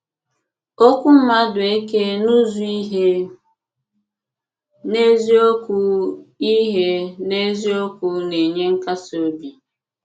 Okwú Madueke n’ụ́zụ́ ihe n’eziokwu ihe n’eziokwu na-enye nkasi obi.